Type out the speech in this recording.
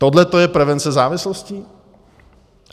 Tohle to je prevence závislosti?